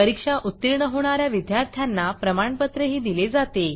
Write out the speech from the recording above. परीक्षा उत्तीर्ण होणा या विद्यार्थ्यांना प्रमाणपत्रही दिले जाते